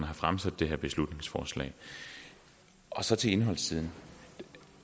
har fremsat det her beslutningsforslag så til indholdssiden